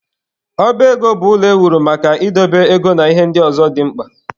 Ọba ego bụ ụlọ ewuru maka idobe ego na ihe ndị ọzọ dị mkpa.